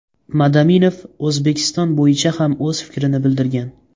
Madaminov O‘zbekiston bo‘yicha ham o‘z fikrini bildirgan.